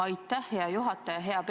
Aitäh, hea juhataja!